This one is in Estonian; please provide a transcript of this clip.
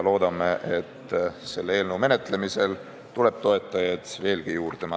Loodame, et selle eelnõu menetlemisel tuleb toetajaid veelgi juurde.